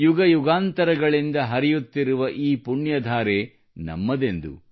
ಯುಗಯುಗಾಂತರಗಳಿಂದ ಹರಿಯುತ್ತಿರುವ ಈ ಪುಣ್ಯ ಧಾರೆ ನಮ್ಮದೆಂದು